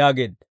yaageedda.